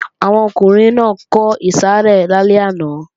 Àwọn ọkùnrin náà ń kọ ìsàrẹ́ lálẹ́ àná